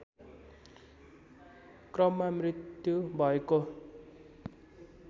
क्रममा मृत्यु भएको